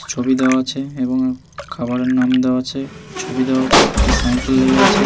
ছবি দেওয়া আছে এবং খাবারের নাম দেওয়া আছে ছবি দেওয়া আছে একটি সাইকেল লেগে আছে ।